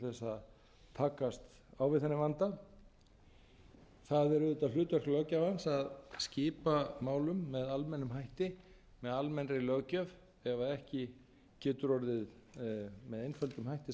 að takast á við þennan vanda það er auðvitað hlutverk löggjafans að skipa málum með almennum hætti með almennri löggjöf ef ekki getur orðið með einföldum hætti sammæli